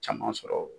Caman sɔrɔ